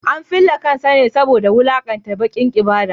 An fille kansa ne saboda wulakanta dakin ibada.